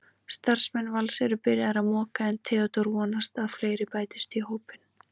Starfsmenn Vals eru byrjaðir að moka en Theódór vonast að fleiri bætist í hópinn.